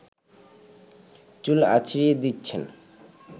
চুল আঁচড়িয়ে দিচ্ছেন